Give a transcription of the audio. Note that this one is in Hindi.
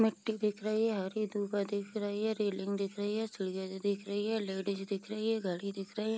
मिट्टी दिख रही है हरी दूर्वा दिख रही है रेलिंग दिख रही है चिड़िया जो दिख रही है लेडिस दिख रही है घड़ी दिख रही है।